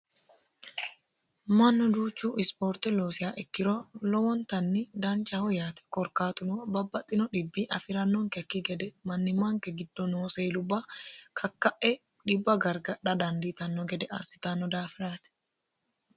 mannu duuchu ispoorte loosiya ikkiro lowontanni danchaho yaate korkaatuno babbaxino dhibbi afi'rannonkekki gede mannimaanke giddo noo seelubba kakka'e dhibba gargadha dandiitanno gede assitanno daafiraate